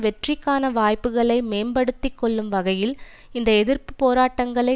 வெற்றிக்கான வாய்ப்புகளை மேம்படுத்திக் கொள்ளும் வகையில் இந்த எதிர்ப்பு போராட்டங்களை